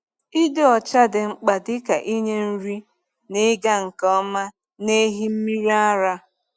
Ịdị ọcha dị mkpa dịka inye nri n’ịga nke ọma n’ehi mmiri ara.